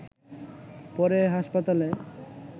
পরে হাসপাতালে